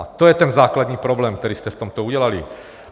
A to je ten základní problém, který jste v tomto udělali.